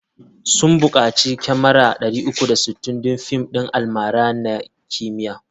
Sun bukaci kyamara 360 don fim ɗin almara na kimiyya.